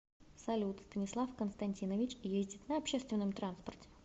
салют станислав константинович ездит на общественном транспорте